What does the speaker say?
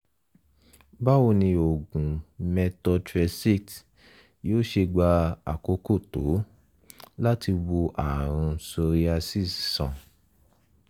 báwo ni oògùn methotrexate yóò ṣe gba àkókò tó láti wo ààrùn psoriasis sàn?